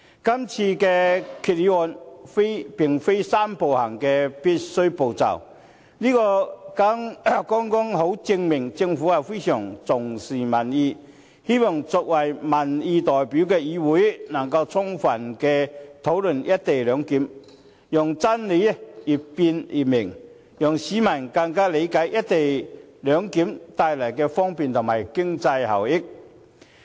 今次的議案並非"三步走"的必須步驟，但這剛好證明，政府非常重視民意，希望作為民意代表的議會能夠充分討論"一地兩檢"，讓真理越辯越明，讓市民更理解"一地兩檢"所帶來的方便和經濟效益。